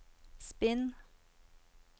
spinn